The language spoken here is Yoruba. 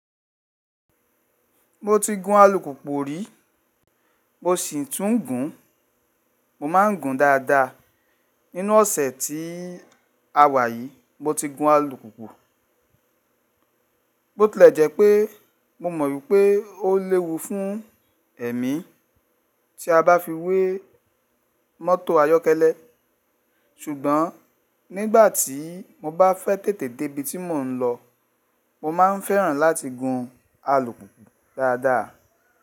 Mo ti gun alùpùpù rí, mo sì tún n gun, mo ma ń gun dada. Nínú ọ̀sẹ̀ tí a wà yìí mo ti gun alùpùpù. Bóòtì lẹ jẹ́ pé mo mọ̀ wípé ó léwu fún ẹ̀mí tí a bá fi wé mọ́tò ayọ́kẹ́lẹ́ ṣùgbọ́n nígbàtí mo bá fẹ́ tètè dé ibi tí mò ń lọ mo máa ń fẹ́ràn láti gun alùpùpù dada.